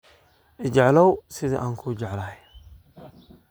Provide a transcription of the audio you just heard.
Iijeclaw sidhi ankujeclahy.